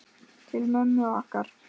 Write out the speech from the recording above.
Til mömmu okkar.